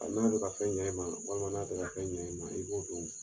A mana kɛ ka fɛn ɲa e ma, walima n'a tɛ ka fɛn ɲa e ma , i b'o don wo!